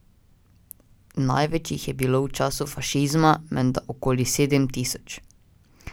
Največ jih je bilo v času fašizma, menda okoli sedem tisoč.